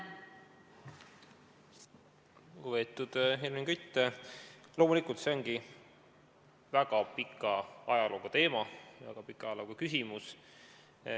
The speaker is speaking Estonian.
Lugupeetud Helmen Kütt, loomulikult, see ongi väga pika ajalooga teema, väga pika ajalooga küsimus.